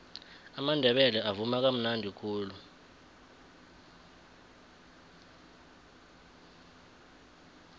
amandebele avuma kamnadi khulu